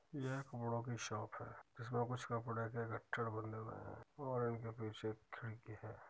यह एक कपड़ो की शॉप है | इसमें कुछ कपड़े के गट्ठर बंधे हुए हैं और इनके पीछे एक खिड़की है।